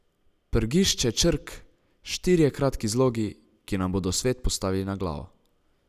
Prgišče črk, štirje kratki zlogi, ki nam bodo svet postavili na glavo.